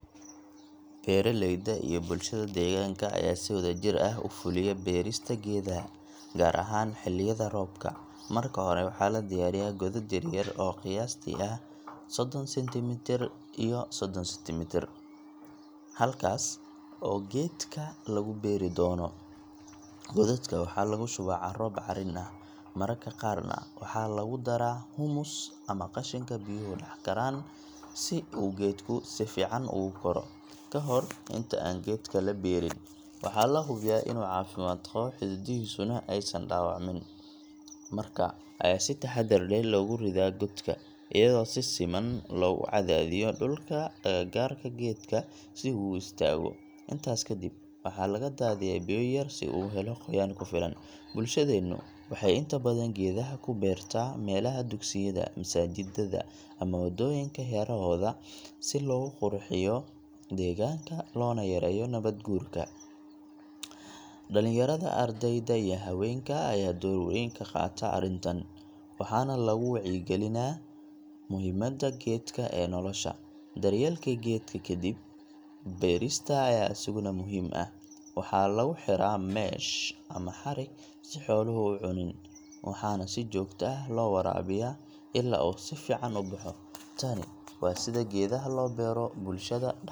Beeraleyda iyo bulshada deegaanka ayaan si wadajir ah u fuliya beerista geedaha, gaar ahaan xilliyada roobka. Marka hore, waxaa la diyaariyaa godad yar-yar oo qiyaastii ah soddon centimetre iyo soddon centimetre, halkaas oo geedka lagu beeri doono. Godadka waxaa lagu shubaa carro bacrin ah, mararka qaarna waxaa lagu daraa humus ama qashinka biyuhu dhaxan karaan si uu geedku si fiican ugu koro. Ka hor inta aan geedka la beerin, waxaa la hubiyaa in uu caafimaad qabo, xididdadiisuna aysan dhaawacmin. Marka ayaa si taxaddar leh loogu ridaa godka, iyadoo si siman loogu cadaadiyo dhulka agagaarka geedka si uu u istaago. Intaas kadib, waxaa laga daadiyaa biyo yar si uu u helo qoyaan ku filan. Bulshadeenu waxay inta badan geedaha ku beertaa meelaha dugsiyada, masaajiddada, ama waddooyinka hareerahooda si loo qurxiyo deegaanka loona yareeyo nabaad guurka. Dhalinyarada, ardayda iyo haweenka ayaa door weyn ka qaata arrintan, waxaana lagu wacyi-geliyaa muhiimadda geedka ee nolosha. Daryeelka geedka ka dib beerista ayaa isaguna muhiim ah — waxaa lagu xiraa mesh ama xarig si xooluhu u cunin, waxaana si joogto ah loo waraabiyaa ilaa uu si fiican u baxo. Tani waa sida geedaha loo beero bulshada dhexdeeda.